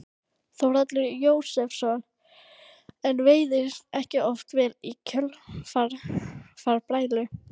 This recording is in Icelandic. Þórhallur Jósefsson: En veiðist ekki oft vel í kjölfar brælu?